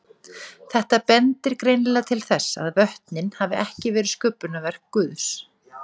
Þetta bendir greinilega til þess að vötnin hafi ekki verið sköpunarverk Guðs.